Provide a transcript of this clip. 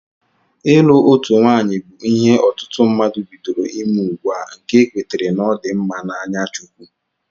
Ịlụ otu nwaanyị bụ ihe ọtụtụ mmadụ bidoro ime ugbua nke ekwetere na ọ dị mma na anya chukwu